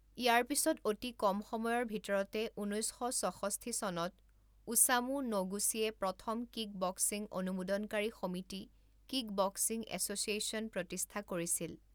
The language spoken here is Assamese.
ইয়াৰ পিছত অতি কম সময়ৰ ভিতৰতে ঊনৈছ শ ছষষ্ঠি চনত ওছামু ন'গুচিয়ে প্ৰথম কিকবক্সিং অনুমোদনকাৰী সমিতি কিকবক্সিং এছ'চিয়েশ্যন প্ৰতিষ্ঠা কৰিছিল।